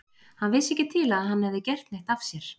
Hann vissi ekki til að hann hefði gert neitt af sér.